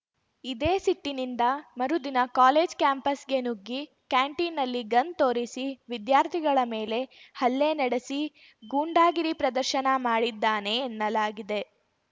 ಇದೇ ಸಿಟ್ಟಿನಿಂದ ಮರುದಿನ ಕಾಲೇಜ್‌ ಕ್ಯಾಂಪಸ್‌ಗೆ ನುಗ್ಗಿ ಕ್ಯಾಂಟೀನ್‌ನಲ್ಲಿ ಗನ್‌ ತೋರಿಸಿ ವಿದ್ಯಾರ್ಥಿಗಳ ಮೇಲೆ ಹಲ್ಲೆ ನಡೆಸಿ ಗೂಂಡಾಗಿರಿ ಪ್ರದರ್ಶನ ಮಾಡಿದ್ದಾನೆ ಎನ್ನಲಾಗಿದೆ